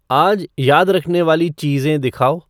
आज याद रखने वाली चीज़ें दिखाओ